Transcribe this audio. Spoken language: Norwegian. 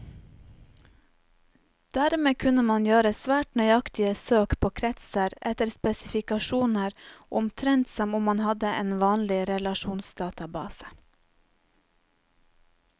Dermed kunne man gjøre svært nøyaktige søk på kretser etter spesifikasjoner, omtrent som om man hadde en vanlig relasjonsdatabase.